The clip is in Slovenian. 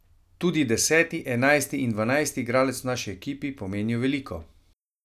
Tudi deseti, enajsti in dvanajsti igralec v naši ekipi pomenijo veliko.